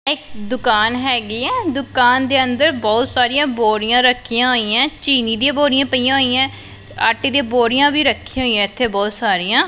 ਇੱਕ ਦੁਕਾਨ ਹੈਗੀ ਹੈ ਦੁਕਾਨ ਦੇ ਅੰਦਰ ਬਹੁਤ ਸਾਰੀਆਂ ਬੋਰੀਆਂ ਰੱਖੀਆਂ ਹੋਈਆਂ ਹੈਂ ਚੀਨੀ ਦੀਆਂ ਬੋਰਿਆਂ ਪਈਆਂ ਹੋਈਆਂ ਹੈਂ ਆਟੇ ਦੀ ਬੋਰੀਆਂ ਵੀ ਰੱਖੀਆਂ ਹੋਈਆਂ ਇੱਥੇ ਬਹੁਤ ਸਾਰੀਆਂ।